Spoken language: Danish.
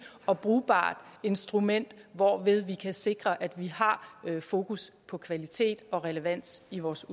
og brugbart instrument hvorved vi kan sikre at vi har fokus på kvalitet og relevans i vores